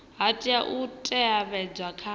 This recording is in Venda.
ha tea u teavhedzwa kha